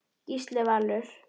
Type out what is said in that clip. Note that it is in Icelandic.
Gísli Valur.